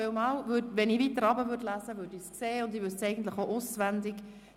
Beim Weiterlesen hätte ich das gesehen, und eigentlich weiss ich es auch auswendig.